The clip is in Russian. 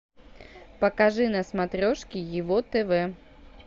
покажи на смотрешке его тв